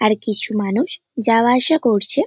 আর কিছু মানুষ যাওয়া আসা করছে।